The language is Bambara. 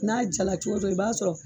N'a jala cogo o cogo i b'a sɔrɔ